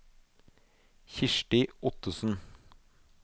Kirsti Ottesen